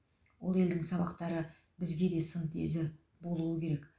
ол елдің сабақтары бізге де сын тезі болуы керек